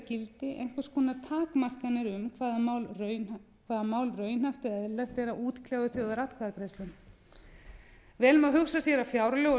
gildi einhvers konar takmarkanir um hvaða mál raunhæft eða eðlilegt er að útkljá í þjóðaratkvæðagreiðslum vel má hugsa sér að fjárlög og